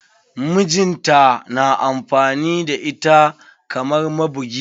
Mijinta na amfani da ita kamar mabugi.